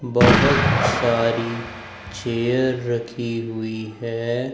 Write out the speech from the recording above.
बहोत सारी चेयर रखी हुई है।